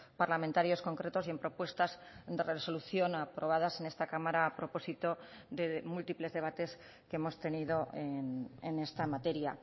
parlamentarios concretos y en propuestas de resolución aprobadas en esta cámara a propósito de múltiples debates que hemos tenido en esta materia